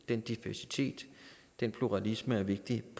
den diversitet den pluralisme er vigtig i